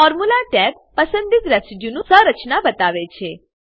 formula tab પસંદિત residue નું સંરચના બતાવે છે